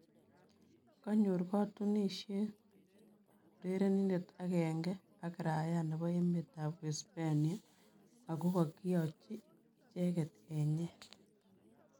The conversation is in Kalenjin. Konyor kakotunosiet urerindet agenge ak raaia nebo emet ab Uhispania , agoh kokiachi icheke enyeet